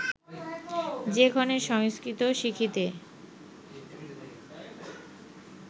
যে ক্ষণে সংস্কৃত শিখিতে